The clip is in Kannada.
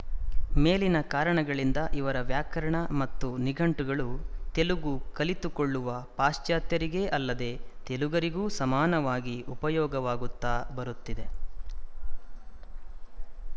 ಮೇಲಿನ ಕಾರಣಗಳಿಂದ ಇವರ ವ್ಯಾಕರಣ ಮತ್ತು ನಿಘಂಟುಗಳು ತೆಲುಗು ಕಲಿತುಕೊಳ್ಳುವ ಪಾಶ್ಚಾತ್ಯರಿಗೆ ಅಲ್ಲದೆ ತೆಲುಗರಿಗೂ ಸಮಾನವಾಗಿ ಉಪಯೋಗ ವಾಗುತ್ತಾ ಬರುತ್ತಿವೆ